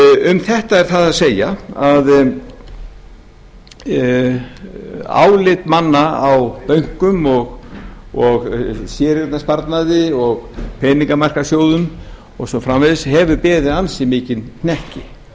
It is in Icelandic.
um þetta er það að segja að álit manna á bönkum og séreignarsparnaði og peningamarkaðssjóðum og svo framvegis hefur beðið ansi mikinn hnekki